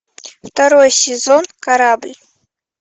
второй сезон корабль